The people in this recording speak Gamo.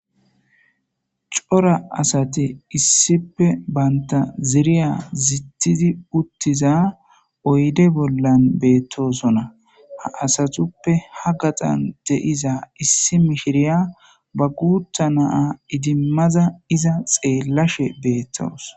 cora asati issipe baynta ziriya zitidi uttiza oyde bollan beettosonna ha asatuppe ha gaxan de7iza issi mishiriya ba guutha naa idimmaza iza xeellashe beettoos